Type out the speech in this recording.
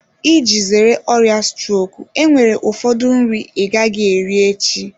Iji zere ọrịa strok enwere ụfọdụ nri ị gaghị eri echi.